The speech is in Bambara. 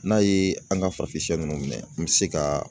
N'a ye an ka farafin ninnu minɛ, an bɛ se ka